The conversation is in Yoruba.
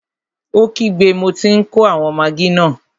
Ó kígbe, mo tí n kó àwọn magí náà!